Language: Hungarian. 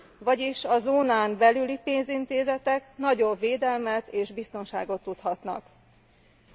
Vagyis a zónán belüli pénzintézetek nagyobb védelmet és biztonságot tudhatnak magukénak.